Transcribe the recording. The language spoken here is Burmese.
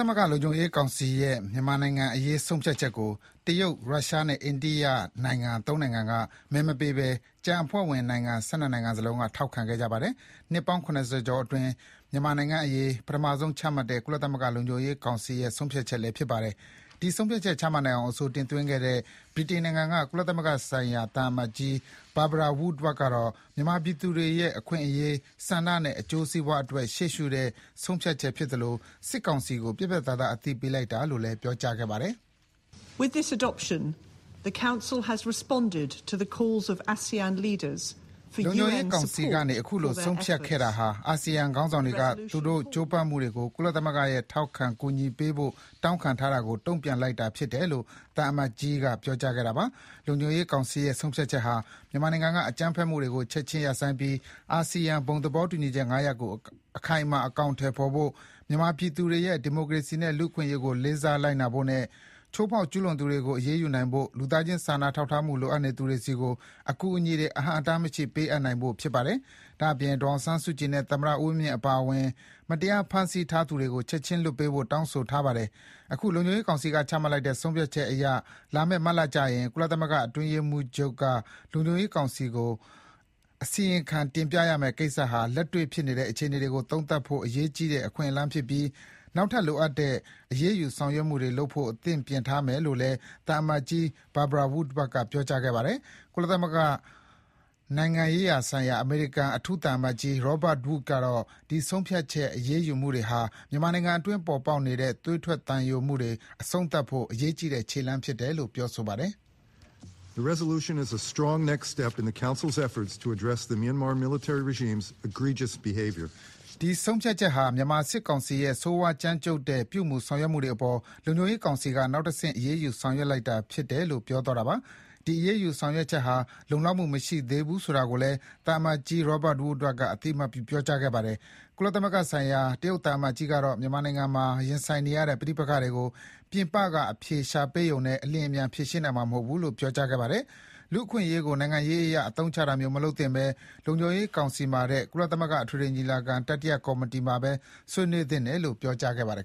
သမဂ္ဂလုံခြုံရေးကောင်စီရဲ့ မြန်မာနိုင်ငံ့အရေးဆုံးဖြတ်ချက်ကို တရုတ်၊ ရုရှားနဲ့ အိန္ဒိယနိုင်ငံ ၃ နိုင်ငံကမဲမပေးဘဲ ကျန်အဖွဲ့ဝင်နိုင်ငံ ၁၂ နိုင်ငံစလုံးက ထောက်ခံခဲ့ကြပါတယ်။ နှစ်ပေါင်း ၇၀ ကျော်အတွင်း မြန်မာနိုင်ငံ့အရေး ပထမဆုံးချမှတ်တဲ့ ကုလသမဂ္ဂလုံခြုံရေးကောင်စီရဲ့ ဆုံးဖြတ်ချက်လည်း ဖြစ်ပါတယ်။ ဒီဆုံးဖြတ်ချက် ချမှတ်နိုင်အောင် အဆိုတင်သွင်းခဲ့တဲ့ ဗြိတိန်နိုင်ငံက ကုလသမဂ္ဂဆိုင်ရာ ဗြိတိန်သံအမတ်ကြီး Barbara Woodward ကတော့ မြန်မာပြည်သူတွေရဲ့ အခွင့်အရေး၊ ဆန္ဒနဲ့ အကျိုးစီးပွားတွက် ရှေ့ရှုတဲ့ ဆုံးဖြတ်ချက်ဖြစ်သလို စစ်ကောင်စီကို ပြတ်ပြတ်သားသား အသိပေးလိုက်တာလို့လည်း ပြောကြားခဲ့ပါတယ်။ လုံခြုံရေးကောင်စီကနေ အခုလို ဆုံးဖြတ်ခဲ့တာဟာ အာဆီယံခေါင်းဆောင်တွေက သူတို့ကြိုးပမ်းမှုတွေကို ကုလသမဂ္ဂရဲ့ထောက်ခံကူညီမှုပေးဖို့ တောင်းခံထားတာကိုတုံ့ပြန်လိုက်တာဖြစ်တယ်လို့ ဗြိတိန်သံအမတ်ကြီးက ပြောကြားခဲ့တာပါ။ လုံခြုံရေးကောင်စီရဲ့ဆုံးဖြတ်ချက်ဟာ မြန်မာနိုင်ငံက အကြမ်းဖက်မှုတွေကို ချက်ချင်းရပ်ဆိုင်းပြီး အာဆီယံ ဘုံသဘောတူညီချက် ၅ ရပ်ကို အခိုင်အမာ အကောင်အထည်ဖေါ်ဖို့ မြန်မာပြည်သူတွေရဲ့ဒီမိုကရေစီနဲ့လူ့အခွင့်အရေးကို လေးစားလိုက်နာဖို့နဲ့ ချိုးဖေါက်ကျုးလွန်သူတွေကို အရေးယူနိုင်ဖို့၊ လူသားချင်းစာနာထောက်ထားမှု လိုအပ်နေသူတွေဆီကို အကူအညီတွေ အဟန့်အတားမရှိ ပေးအပ်နိုင်ဖို့ ဖြစ်ပါတယ်။ ဒါ့အပြင် ဒေါ်အောင်ဆန်းစုကြည်နဲ့ သမ္မတဦးဝင်းမြင့်အပါအဝင် မတရားဖမ်းဆီးထားသူတွေကို ချက်ချင်းလွှတ်ပေးဖို့ တောင်းဆိုထားပါတယ်။ အခု လုံခြုံရေးကောင်စီက ချမှတ်လိုက်တဲ့ ဆုံးဖြတ်ချက်အရ လာမယ့်မတ်လကျရင် ကုလသမဂ္ဂအတွင်းရေးမှူးချုပ်က လုံခြုံရေးကောင်စီကို အစီရင်ခံတင်ပြရမယ့်ကိစ္စဟာ လက်တေ့ွဖြစ်နေတဲ့ အခြေအနေတွေကို သုံးသပ်ဖို့ အရေးကြီးတဲ့ အခွင့်အလမ်းဖြစ်ပြီး၊ နောက်ထပ် လိုအပ်တဲ့ အရေးယူ ဆောင်ရွက်မှုတွေလုပ်ဖို့ အသင့်ပြင်ထားမယ်လို့လည်း ဗြိတိန်သံအမတ်ကြီး Barbara Woodward က ပြောပါတယ်။ ကုလသမဂ္ဂနိုင်ငံရေးရာဆိုင်ရာ အမေရိကန် အထူးသံအမတ်ကြီး Robert Wood ကတော့လည်း ဒီ ဆုံးဖြတ်ချက် အရေးယူမှုတွေဟာ မြန်မာနိုင်ငံအတွင်း ပေါ်ပေါက်နေတဲ့ သွေးထက်သံယိုမှုတွေအဆုံးသတ်ဖို့ အရေးကြီးတဲ့ခြေလှမ်းဖြစ်တယ်လို့ ပြောဆိုပါတယ်။ ဒီဆုံးဖြတ်ချက်ဟာ မြန်မာစစ်ကောင်စီရဲ့ ဆိုးဝါးကြမ်းကြုတ်တဲ့ ပြုမှုဆောင်ရွက်ချက်တွေအပေါ် လုံခြုံရေးကောင်စီက နောက်တဆင့် အရေးယူဆောင်ရွက်လိုက်တာဖြစ်လို့ ပြောသွားတာဖြစ်ပါတယ်။ ဒီအရေး ယူဆောင်ရွက်ချက်ဟာ လုံလောက်မှု မရှိသေးဘူးဆိုတာကိုလည်း သံအမတ်ကြီး Robert Wood ကအသိအမှတ်ပြု ပြောခဲ့ပါတယ်။ ကုလသမဂ္ဂဆိုင်ရာ တရုတ်သံအမတ်ကြီးကတော့ မြန်မာနိုင်ငံမှာ ရင်ဆိုင်နေရတဲ့ ပဋိပက္ခတွေကို ပြင်ပက အဖြေရှာပေးရုံနဲ့ အလျင်အမြန် ဖြေရှင်းနိုင်မှာမဟုတ်ဘူးလို့ ပြောကြားသွားခဲ့ပါတယ်။ လူ့အခွင့်အရေးကို နိုင်ငံရေးအရ အသုံးချတာမျိုး မလုပ်သင့်ဘဲ လုံခြုံရေးကောင်စီမှာထက် ကုလသမဂ္ဂ အထွေထွေညီလာခံ တတိယကော်မတီမှာပဲ ဆွေးနွေးသင့်တယ်လို့ ပြောကြားသွားခဲ့ပါတယ်